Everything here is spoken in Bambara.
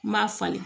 N m'a falen